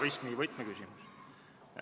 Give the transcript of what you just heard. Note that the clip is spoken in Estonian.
Austatud kolleegid!